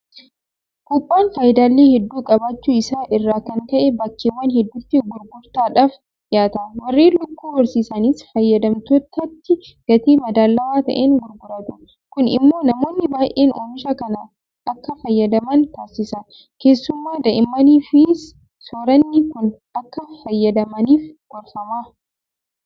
Buuphaan faayidaalee hedduu qabaachuu isaa irraa kan ka'e bakkeewwan hedduutti gurgurtaadhaaf dhiyaata. Warreen Lukkuu horsiisanis fayyadamtootatti gatii madaalawaa ta'een gurguratu. Kun immoo namoonni baay'een oomisha kana akka fayyadaman taasisa. Keessumaa Daa'immaniifis soorranni kun akka fayyadamaniif gorfama.